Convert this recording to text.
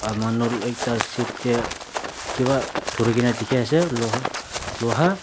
manu ekta seat tae kipa dhurikae na dikhiase ase luha luha.